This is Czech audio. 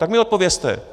Tak mi odpovězte.